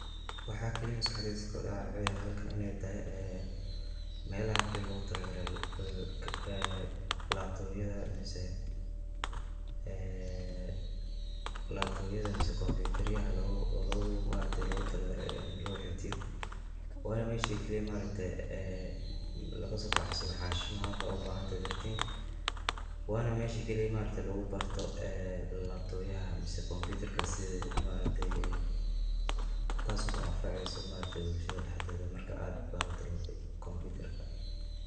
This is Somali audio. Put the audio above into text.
Waxa kaliya ee maskaxdeyda kusodacayo waxa waye halkan iney tahay melaha kaliya logutalagalay labtobyada mise combutaryada logutalagalay ini laxifdiyo wana meesha kaliya maaragte lagasobaxsado xanshimaha markad ubahantahay printing wana meesha kaliya ee lugubarto labtobyaha mise comubtarka sida taso kuanfaceyso bulshada dhexdoda marka aad barato combutarka.